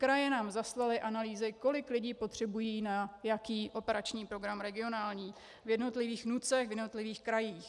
Kraje nám zaslaly analýzy, kolik lidí potřebují na jaký operační program regionální v jednotlivých NUTS, v jednotlivých krajích.